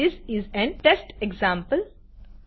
this is an test example